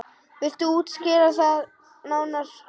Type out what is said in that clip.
Viltu skýra það nánar?